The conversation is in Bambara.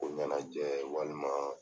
Ko ɲɛnajɛ walima